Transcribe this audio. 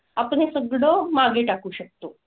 आपण हे सगळं मागे टाकू शकतो.